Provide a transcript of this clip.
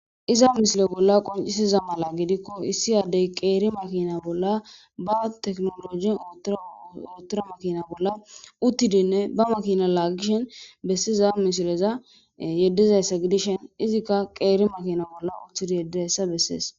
iza misile bolla qoncisiza mala gidikko issi addey qeeri makina bolla ba teknologi uttura makina bolla uttidinne ba makina laagishen bessiza misileza yeddizayssa gidishen izikka qeeri makina bolla uttidi yeddeyssa bessees